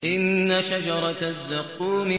إِنَّ شَجَرَتَ الزَّقُّومِ